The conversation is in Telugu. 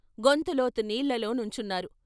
గొంతు లోతు నీళ్ళలో నుంచున్నారు.